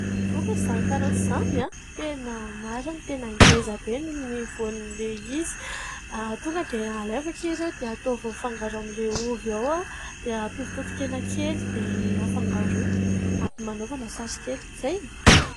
Vokatra izany karaoty izany ! Tena marina ! Tena ngezabe ny voan'ilay izy. Tonga dia alaivo akia ireo dia ataovy mifangaro amin'ilay ovy ao dia ampio totokena kely dia afangaroy. Ampy...manaova lasary kely. Izay ?